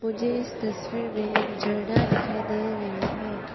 मुझे इस तस्वीर में एक झरना दिखाई दे रही है।